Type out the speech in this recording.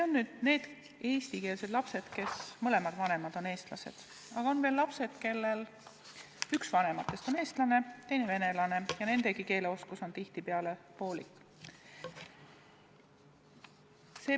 Need on eestikeelsed lapsed, kelle mõlemad vanemad on eestlased, aga on veel lapsed, kellel üks vanematest on eestlane, teine venelane, nendegi keeleoskus on tihtipeale poolik.